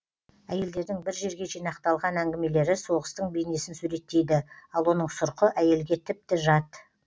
әйелдердің бір жерге жинақталған әңгімелері соғыстың бейнесін суреттейді ал оның сұрқы әйелге тіпті жат